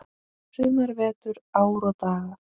sumar, vetur, ár og daga.